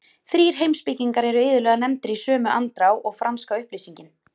Þrír heimspekingar eru iðulega nefndir í sömu andrá og franska upplýsingin.